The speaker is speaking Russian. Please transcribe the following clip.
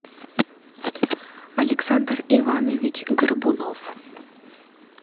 александр иванович горбунов